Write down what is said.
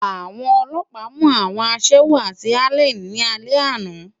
Awòn òlòpá mú áwòn aṣèwó ni Álèn ni álè àná